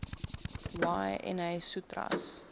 y na sutras